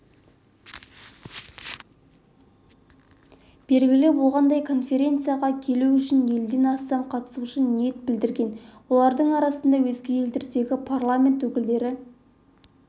белгілі болғандай конференцияға келу үшін елден астам қатысушы ниет білдірген олардың арасында өзге елдердегі парламент өкілдері